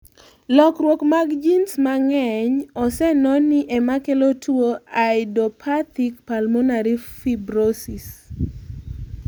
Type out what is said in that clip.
Lokruok mag genes mang'eny ose noni emakelo tuo idiopathic pulmonary fibrosis